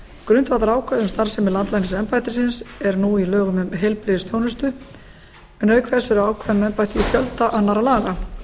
grundvallarákvæði um starfsemi landlæknisembættisins er nú í lögum um heilbrigðisþjónustu en auk þess eru ákvæði um embættið í fjölda annarra laga